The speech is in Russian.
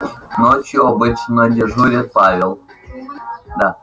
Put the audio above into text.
ночью обычно дежурит павел